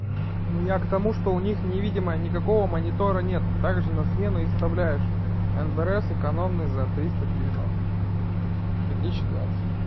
ну я к тому что у них невидимая никакого монитора нет также на смену и вставляешь энбрс экономные за триста девяносто две тысячи двадцать